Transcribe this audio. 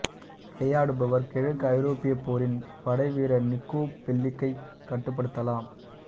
விளையாடுபவர் கிழக்கு ஐரோப்பியப் போரின் படைவீரர் நிக்கோ பெல்லிக்கைக் கட்டுப்படுத்தலாம்